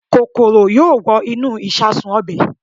Kòkòrò yóò wọ inú ìṣasùn ọbẹ̀